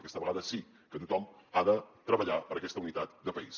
aquesta vegada sí que tothom ha de treballar per aquesta unitat de país